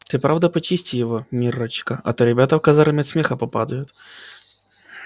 ты правда почисти его миррочка а то ребята в казарме от смеха попадают